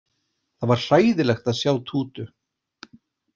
Það var hræðilegt að sjá Tútu.